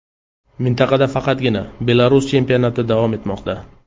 Mintaqada faqatgina Belarus chempionati davom etmoqda.